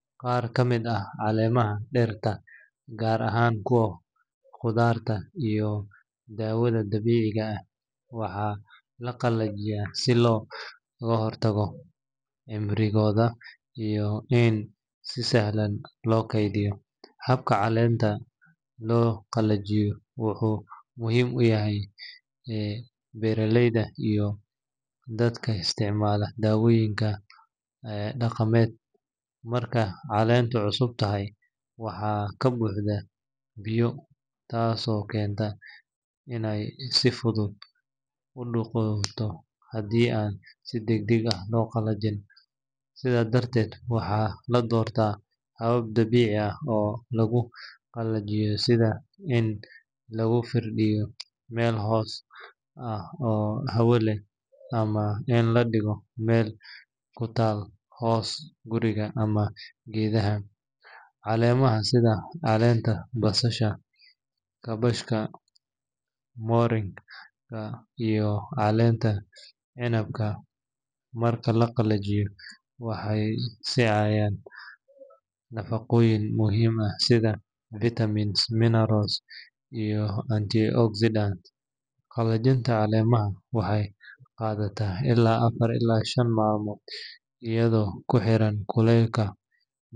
Qaar ka mid ah caleemaha dhirta, gaar ahaan kuwa khudaarta iyo daawada dabiiciga ah, waxaa la qalajiyaa si loo kordhiyo cimrigooda iyo in si sahlan loo keydiyo. Habka caleenta loo qalajiyo wuxuu muhiim u yahay beeraleyda iyo dadka isticmaala dawooyinka dhaqameed. Marka caleentu cusub tahay, waxay ka buuxdaa biyo, taasoo keenta inay si fudud u qudhunto haddii aan si degdeg ah loo qalajin. Sidaa darteed, waxaa la doortaa habab dabiici ah oo lagu qalajiyo, sida in lagu firdhiyo meel hoos ah oo hawo leh ama in la dhigo meel ku taal hooska guriga ama geedaha. Caleemaha sida caleenta basasha, kaabashka, moringa, iyo caleenta cinabka, marka la qalajiyo, waxay sii hayaan nafaqooyin muhiim ah sida vitamins, minerals, iyo antioxidants. Qalajinta caleemaha waxay qaadataa ilaa afar ilaa shan maalmood iyadoo ku xiran kuleylka.